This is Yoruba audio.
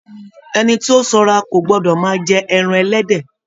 Ẹni tí o sanra kò gbọdọ máa jẹ ẹran ẹlẹ́dẹ̀.